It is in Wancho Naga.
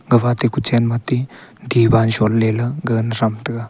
gafa tai ku chanma ti tiban son ley gaga sam taiga